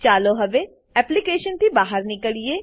ચાલો હવે એપ્લીકેશનથી બહાર નીકળીએ